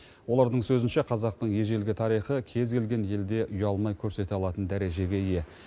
олардың сөзінше қазақтың ежелгі тарихы кез келген елде ұялмай көрсете алатын дәрежеге ие